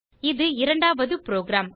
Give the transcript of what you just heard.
இது இரண்டாவது புரோகிராம்